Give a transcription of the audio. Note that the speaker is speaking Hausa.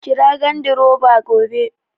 Kira gandiroba gobe